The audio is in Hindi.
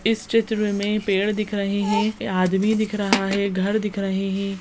इस चित्र में पेड़ दिख रहे है आदमी दिख रहा है घर दिख रहे है।